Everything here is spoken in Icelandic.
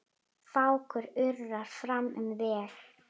Fákur urrar fram um veg.